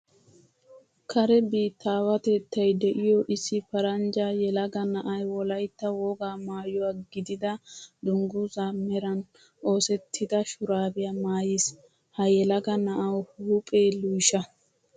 Kare biittaawatettay de'iyo issi paranjja yelaga na'ay Wolaytta wogaa maayuwaa gidida dungguzzaa meran oosettida shuraabiyaa maayiis. Ha yelaga na'awu huuphee luysha.